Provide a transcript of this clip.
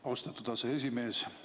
Austatud aseesimees!